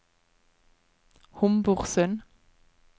Homborsund